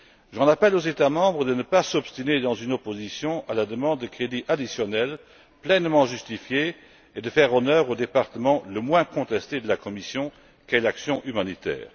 J'en appelle aux États membres de ne pas s'obstiner dans une opposition à la demande de crédits additionnels, pleinement justifiée, et de faire honneur au département le moins contesté de la Commission qu'est l'action humanitaire.